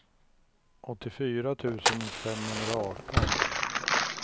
åttiofyra tusen femhundraarton